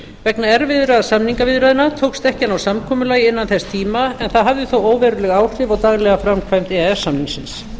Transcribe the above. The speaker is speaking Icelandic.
vegna erfiðra samningaviðræðna tókst ekki á ná samkomulagi innan þess tíma en það hafði þó óveruleg áhrif á daglega framkvæmd e e s samningsins